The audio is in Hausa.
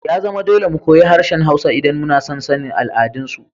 Ya zama dole mu koyi harshen Hausawa idan muna son sanin al'adunsu.